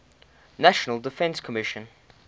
national defense commission